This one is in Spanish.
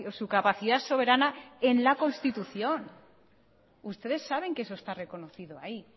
su capacidad soberana en la constitución ustedes saben que eso está reconocido ahí